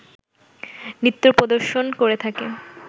নৃত্য প্রদর্শন করে থাকে